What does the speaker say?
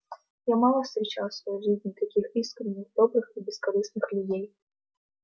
я мало встречал в своей жизни таких искренних добрых и бескорыстных людей